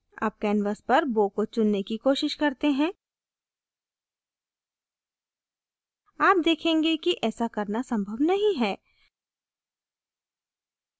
अब canvas पर bow को चुनने की कोशिश करते हैं आप देखेंगे कि ऐसा करना संभव नहीं है